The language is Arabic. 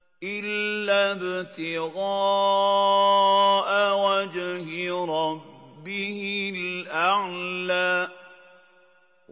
إِلَّا ابْتِغَاءَ وَجْهِ رَبِّهِ الْأَعْلَىٰ